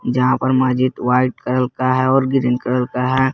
यहा पर मस्जिद वाइट कलर का है और ग्रीन कलर का है।